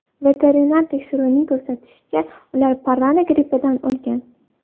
Veterinar tekshiruvining ko‘rsatishicha, ular parranda grippidan o‘lgan.